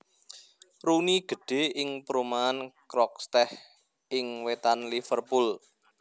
Rooney gedhè ing perumahan Croxteth ing wètan Liverpool